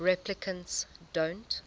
replicants don't